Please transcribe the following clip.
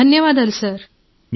శిరీష ధన్యవాదాలు సార్